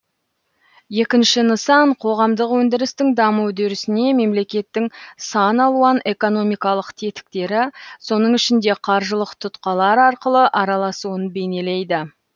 екінші нысан қоғамдық өндірістің даму үдерісіне мемлекеттің сан алуан экономикалық тетіктері соның ішінде қаржылық тұтқалар арқылы араласуын бейнелейді